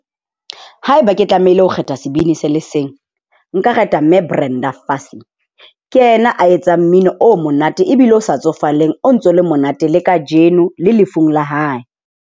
Haeba ke tlamehile ho kgetha sebini se le seng, nka kgetha mme Brenda Fassie. Ke yena a etsang mmino o monate ebile o sa tsofaleng, o ntso le monate le kajeno le lefung la hae.